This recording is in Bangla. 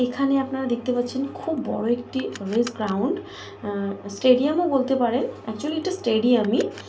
এখানে আপনারা দেখতে পাচ্ছেন খুব বড় একটি রেস গ্রাউন্ড । উম স্টেডিয়াম - ও বলতে পারেন। অ্যাকচুয়ালি এটা স্টেডিয়াম -ই।